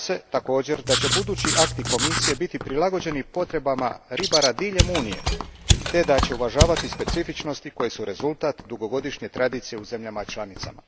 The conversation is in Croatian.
Također se nadam da će budući akti Komisije biti prilagođeni potrebama ribara diljem Unije te da će uvažavati specifičnosti koje su rezultat dugogodišnje tradicije u zemljama članicama.